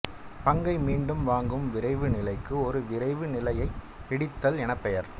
பங்கை மீண்டும் வாங்கும் விரைவு நிலைக்கு ஒரு விரைவு நிலையைப் பிடித்தல் எனப் பெயர்